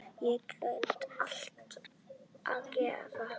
Ég get alltaf gert það.